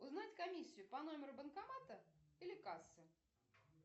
узнать комиссию по номеру банкомата или кассы